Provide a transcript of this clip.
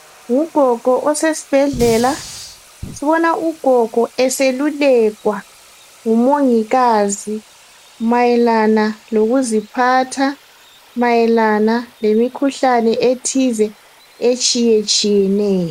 Ngugogo osesibhedlela. Sibona ugogo eselulekwa ngumongikazi mayelana lokuziphatha, mayelana lemikhuhlane ethize etshiyetshiyeneyo.